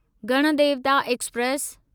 Ganadevata express